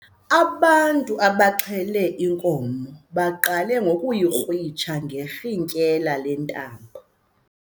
Abantu abaxhele inkomo baqale ngokuyikrwitsha ngerhintyela lentambo.